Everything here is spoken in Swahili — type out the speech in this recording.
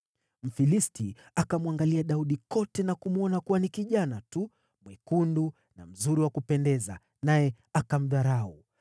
Mfilisti akamwangalia Daudi kote na kumwona kuwa ni kijana tu, mwekundu na mzuri wa kupendeza, naye akamdharau.